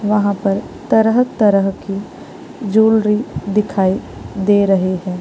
वहाँ पर तरह-तरह की ज्वैलरी दिखाई दे रही है।